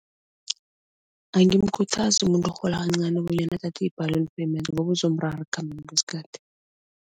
Angimkhuthazi umuntu orhola kancani bonyana athathe i-ballon payment ngoba uzomrara ekukhambeni kwesikhathi.